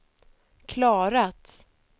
klarat